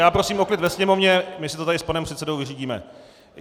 Já prosím o klid ve sněmovně, my si to tady s panem předsedou vyřídíme.